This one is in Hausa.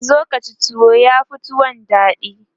zo Kaci tuwo yafi tuwon daɗi